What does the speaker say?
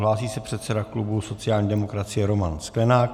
Hlásí se předseda klubu sociální demokracie Roman Sklenák.